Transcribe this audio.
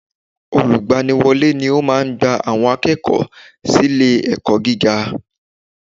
Olùgbaniwọ́lé ni ó máa gba àwọn akẹ́kọ̀ọ́ sílé ẹ̀kọ́ gíga